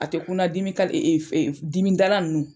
A te kun na dimi dimi dalan nunnu.